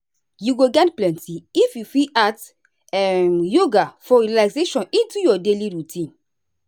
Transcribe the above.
you go gain plenty if you fit add um yoga for relaxation into your daily routine.